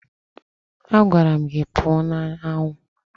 Agwara m gị pụọ n'anwụ!